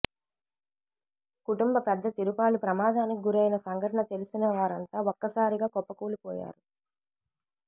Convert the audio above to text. కుటుంబ పెద్ద తిరుపాలు ప్రమాదానికి గురైన సంఘటన తెలిసిన వారంతా ఒక్క సారిగా కుప్పకూలిపోయారు